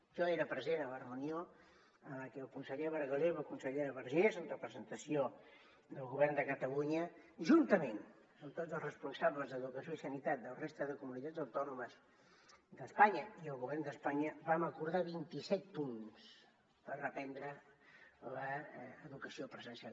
jo era present a la reunió en la que el conseller bargalló i la consellera vergés en representació del govern de catalunya juntament amb tots els responsables d’educació i sanitat de la resta de comunitats autònomes d’espanya i el govern d’espanya vam acordar vint i set punts per reprendre l’educació presencial